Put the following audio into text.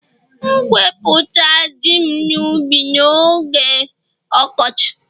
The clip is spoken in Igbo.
M'gēweputa Ji'm n'ubi m n'oge ọkọchị